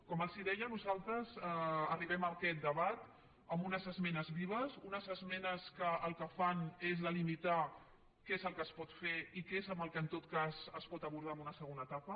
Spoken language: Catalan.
com els deia nosaltres arribem a aquest debat amb unes esmenes vives unes esmenes que el que fan és delimitar què és el que es pot fer i què és el que en tot cas es pot abordar en una segona etapa